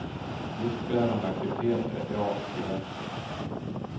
Viktbärande aktiviteter är bra för skelettet.